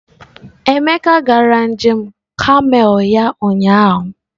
Emeka gara njem kamel ya ụnyahụ.